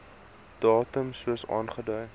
datum soos aangedui